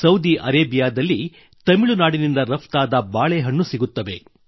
Saudi ಅರೇಬಿಯಾದಲ್ಲಿ ತಮಿಳುನಾಡಿನಿಂದ ರಫ್ತಾದ ಬಾಳೆಹಣ್ಣು ಸಿಗುತ್ತವೆ